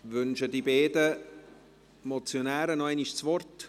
Wünschen die beiden Motionäre nochmals das Wort?